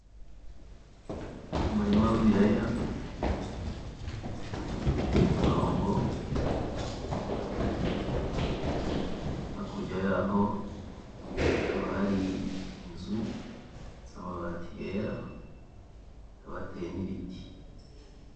Umurima w'ibiraya biri ku murongo hakurya yaho hakaba hari inzu z'amabati yera hakaba hateye nibiti.